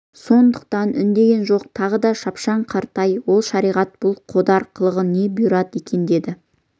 сондықтан үндеген жоқ тағы да шапшаң қаратай ал шариғат бұл қодар қылығына не бұйырады екен деді